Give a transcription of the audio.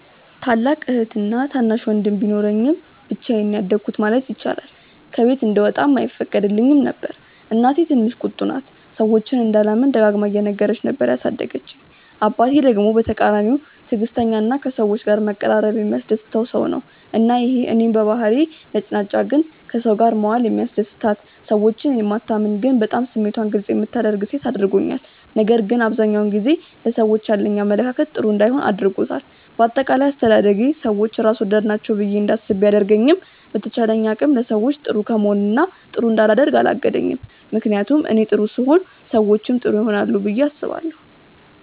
ታላቅ እህትና ታናሽ ወንድም ቢኖረኝም ብቻዬን ነው ያደኩት ማለት ይቻላል። ከቤት እንድወጣም አይፈቀድልኝም ነበር። እናቴ ትንሽ ቁጡ ናት፤ ሰዎችን እንዳላምን ደጋግማ እየነገረች ነበር ያሳደገችኝ። አባቴ ደግሞ በተቃራኒው ትዕግስተኛ እና ከሰዎች ጋር መቀራረብ የሚያስደስተው ሰው ነው። እና ይሄ እኔን በባህሪዬ ነጭናጫ ግን ከሰው ጋር መዋል የሚያስደስታት፣ ሰዎችን የማታምን ግን በጣም ስሜቷን ግልፅ የምታደርግ ሴት አድርጎኛል። ነገር ግን አብዛኛውን ጊዜ ለሰዎች ያለኝ አመለካከት ጥሩ እንዳይሆን አድርጎታል። በአጠቃላይ አስተዳደጌ ሰዎች ራስ ወዳድ ናቸው ብዬ እንዳስብ ቢያደርገኝም በተቻለኝ አቅም ለሰዎች ጥሩ ከመሆን እና ጥሩ እንዳላደርግ አላገደኝም። ምክንያቱም እኔ ጥሩ ስሆን ሰዎችም ጥሩ ይሆናሉ ብዬ አስባለሁ።